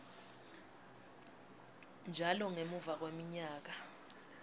njalo ngemuva kweminyaka